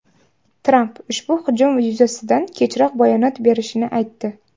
Tramp ushbu hujum yuzasidan kechroq bayonot berishini aytdi .